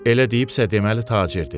Elə deyibsə, deməli tacirdir.